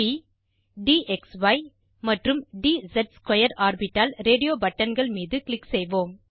ப் ட் க்ஸி மற்றும் ட் ஸ் ஸ்க்வேர் ஆர்பிட்டால் ரேடியோ பட்டன்கள் மீது க்ளிக் செய்வோம்